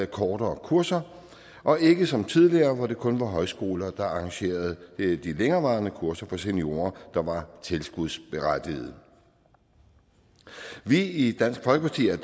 kortere kurser og ikke som tidligere hvor det kun var højskoler der arrangerede de længerevarende kurser for seniorer der var tilskudsberettigede vi i dansk folkeparti er